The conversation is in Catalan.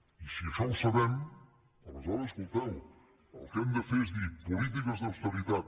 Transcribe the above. i si això ho sabem aleshores escolteu el que hem de fer és dir polítiques d’austeritat